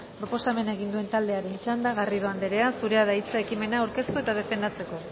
proposamena egin duen taldearen txanda garrido anderea zurea da hitza ekimena aurkeztu eta defendatzeko